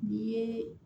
N'i ye